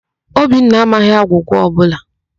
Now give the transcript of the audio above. Obinna amaghị agwụgwa ọbụla.